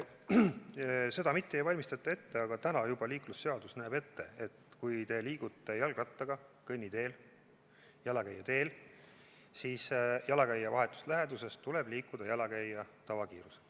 Ja seda mitte ei valmistata ette, aga liiklusseadus juba näeb ette, et kui te liigute jalgrattaga kõnniteel, jalakäijate teel, siis jalakäija vahetus läheduses tuleb liikuda jalakäija tavakiirusega.